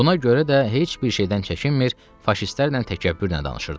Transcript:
Buna görə də heç bir şeydən çəkinmir, faşistlərlə təkəbbürlə danışırdı.